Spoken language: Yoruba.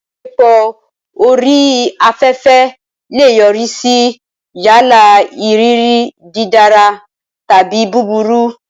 Ìbáṣepọ̀ orí afẹ́fẹ́ lè yọrí sí yálà ìrírí dídára tàbí búburú.